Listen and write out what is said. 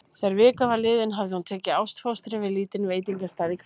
Þegar vika var liðin hafði hún tekið ástfóstri við lítinn veitingastað í hverfinu.